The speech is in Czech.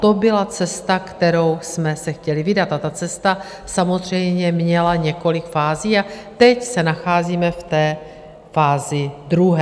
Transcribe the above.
To byla cesta, kterou jsme se chtěli vydat, a ta cesta samozřejmě měla několik fází a teď se nacházíme v té fázi druhé.